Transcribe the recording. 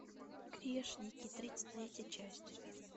грешники тридцать третья часть